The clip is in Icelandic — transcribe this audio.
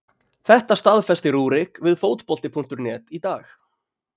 Þetta staðfesti Rúrik við Fótbolti.net í dag.